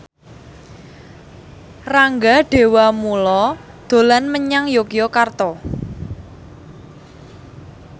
Rangga Dewamoela dolan menyang Yogyakarta